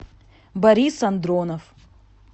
борис андронов